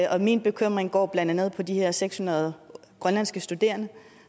og min bekymring går blandt andet på de her seks hundrede grønlandske studerende